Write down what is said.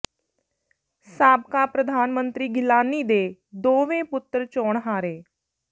ਸਾਬਕਾ ਪ੍ਰਧਾਨ ਮੰਤਰੀ ਗਿਲਾਨੀ ਦੇ ਦੋਵੇਂ ਪੁੱਤਰ ਚੋਣ ਹਾਰੇ